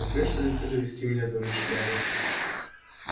возьмёшься ли ты довести меня до ночлега